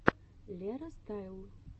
лера стайл